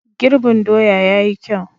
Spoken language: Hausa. Girbin doya ya yi kyau.